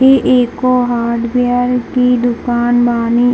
ई एगो हार्डवेयर की दुकान बानी।